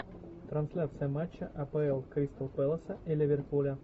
трансляция матча апл кристал пэласа и ливерпуля